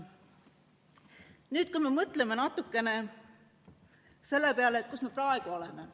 Nüüd mõtleme natukene selle peale, kus me praegu oleme.